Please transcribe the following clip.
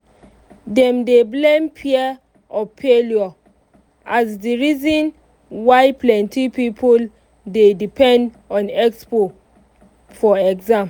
dem dey blame fear of failure as the reason why plenty people dey depend on expo for exam.